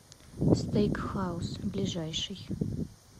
стейк хаус ближайший